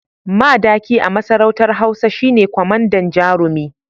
Madaki a masarautar hausa shine kwamandan jarumi